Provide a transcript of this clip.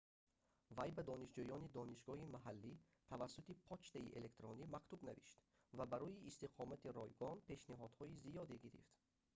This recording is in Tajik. вай ба донишҷӯёни донишгоҳи маҳаллӣ тавассути почтаи электронӣ мактуб навишт ва барои истиқомати ройгон пешниҳодҳои зиёде гирифт